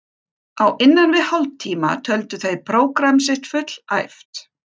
Á innan við hálftíma töldu þeir prógramm sitt fullæft.